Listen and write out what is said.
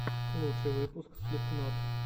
лучший выпуск слипкнот